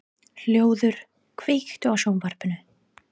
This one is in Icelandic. Hlöður, kveiktu á sjónvarpinu.